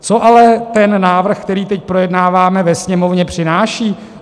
Co ale ten návrh, který teď projednáváme ve Sněmovně, přináší?